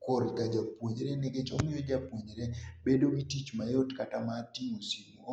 korka japuonjre nikech omiyo japuonjre bedo gi tich mayot kata mar tingo simu